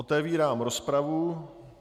Otevírám rozpravu.